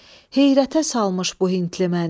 Heyrətə salmış bu hintli məni.